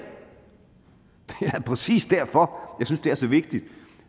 det er præcis derfor jeg synes det er så vigtigt